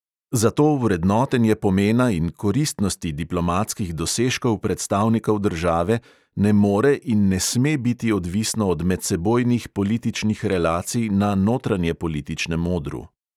Zato vrednotenje pomena in koristnosti diplomatskih dosežkov predstavnikov države ne more in ne sme biti odvisno od medsebojnih političnih relacij na notranjepolitičnem odru.